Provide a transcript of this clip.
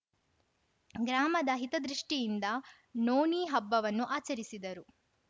ಗ್ರಾಮದ ಹಿತದೃಷ್ಠಿ ಯಿಂದ ನೋನಿ ಹಬ್ಬವನ್ನು ಆಚರಿಸಿದರು